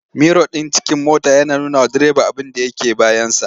Miro ɗin cikin mota yana nunawa direba abinda yake bayansa.